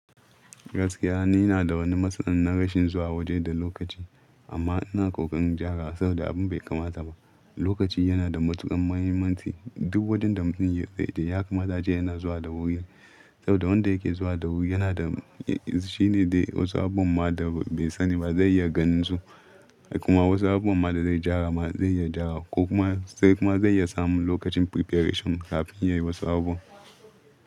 Gaskiya ni na da wani matsin na rashin zuwa waje da lokaci, amma ina ƙoƙarin ja ra saboda abin bai kama sama. Lokaci yana da matuƙar mahimmanci. Duk wurin da mutum zai je ya kamata a ce yana zuwa da wuri. Saboda wanda yake zuwa da wuri yana da, shi ne dai wasu abubuwan ma da bai sani ba zai iya ganin su. Kuma wasu abubuwan ma da zai ja ra ma zai iya ja ra ko kuma sai kuma zai iya samun lokacin preparation kafin ya yi wasu abubuwa.